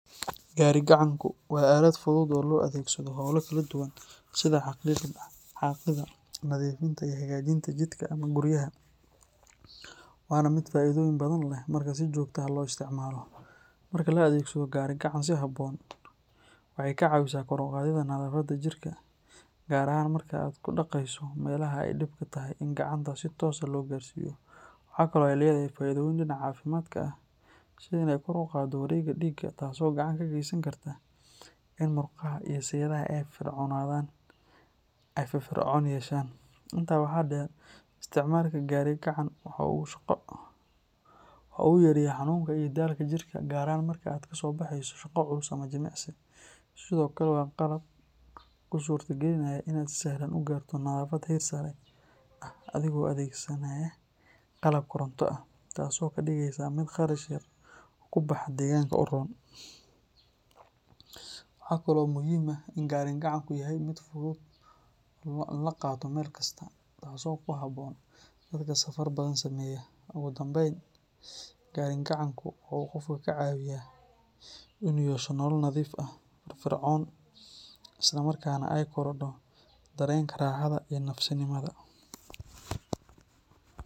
Gari-gacanku waa aalad fudud oo loo adeegsado hawlo kala duwan sida xaaqidda, nadiifinta, iyo hagaajinta jidhka ama guryaha, waana mid faa’iidooyin badan leh marka si joogto ah loo isticmaalo. Marka la adeegsado gari-gacan si habboon, waxay kaa caawinaysaa kor u qaadidda nadaafadda jirka, gaar ahaan marka aad ku dhaqayso meelaha ay dhibka tahay in gacanta si toos ah loo gaarsiiyo. Waxa kale oo ay leedahay faa’iidooyin dhinaca caafimaadka ah, sida in ay kor u qaaddo wareegga dhiigga taasoo gacan ka geysan karta in murqaha iyo seedaha ay firfircoonaan yeeshaan. Intaa waxaa dheer, isticmaalka gari-gacan waxa uu yareeyaa xanuunka iyo daalka jidhka, gaar ahaan marka aad ka soo baxayso shaqo culus ama jimicsi. Sidoo kale, waa qalab kuu suurtogelinaya in aad si sahlan u gaarto nadaafad heer sare ah adigoon adeegsan qalab koronto ah, taasoo ka dhigaysa mid kharash yar ku baxa oo deegaanka u roon. Waxaa kaloo muhiim ah in gari-gacanku yahay mid fudud in la qaato meel kasta, taasoo ku habboon dadka safarka badan sameeya. Ugu dambayn, gari-gacanku waxa uu qofka ka caawiyaa in uu yeesho nolol nadiif ah, firfircoon, isla markaana ay korodho dareenka raaxada iyo nafisnimada.